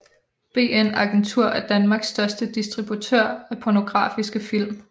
BN Agentur er Danmarks største distributør af pornografiske film